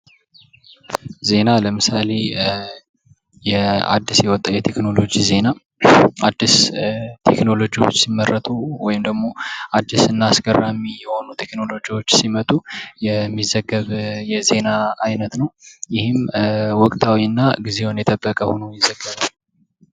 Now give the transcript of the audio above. ዜና ለምሳሌ የአዲስ ህይወት የቴክኖሎጂ ዜና ህይወት የቴክኖሎጂ ዜና አዲስ ቴክኖሎጂ ሲመረጡ ወይም ደግሞ አዲስና